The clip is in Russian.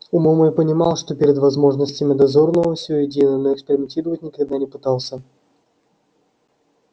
умом я понимал что перед возможностями дозорного все едино но экспериментировать никогда не пытался